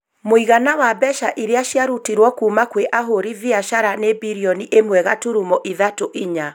mũigana wa mbeca iria cia rutĩtwo kuma kwa ahũri biacara nĩ birioni ĩmwe gaturumo ithatũ inya.